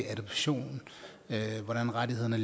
adoption hvordan rettighederne